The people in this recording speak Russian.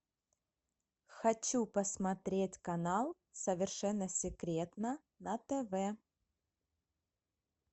хочу посмотреть канал совершенно секретно на тв